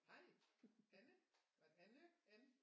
Hej Anne var det Anne Ann